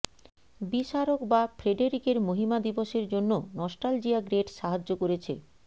বিস্মারক বা ফ্রেডেরিকের মহিমা দিবসের জন্য নস্টালজিয়া গ্রেট সাহায্য করেছে